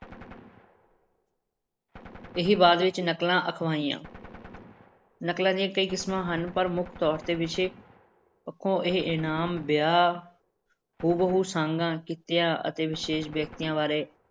ਇਹੀ ਬਾਅਦ ਵਿੱਚ ਨਕਲਾਂ ਅਖਵਾਈਆਂ ਨਕਲਾਂ ਦੀਆਂ ਕਈ ਕਿਸਮਾਂ ਹਨ, ਪਰ ਮੁੱਖ ਤੌਰ ਤੇ ਵਿਸ਼ੇ ਪੱਖੋਂ ਇਹ ਇਨਾਮ, ਵਿਆਹ, ਹੂ-ਬਹੂ ਸਾਂਗਾਂ, ਕਿੱਤਿਆਂ ਅਤੇ ਵਿਸ਼ੇਸ਼ ਵਿਅਕਤੀਆਂ ਬਾਰੇ